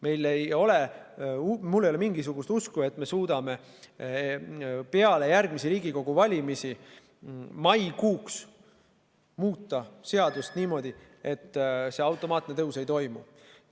Mul ei ole mingisugust usku, et me suudame peale järgmisi Riigikogu valimisi maikuuks muuta seadust niimoodi, et see automaatne tõus ei toimu.